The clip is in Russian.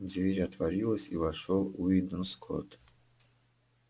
дверь отворилась и вошёл уидон скотт